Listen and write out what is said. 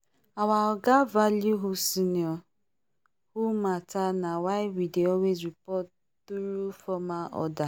our oga value who senior who matter na why we dey always report through formal order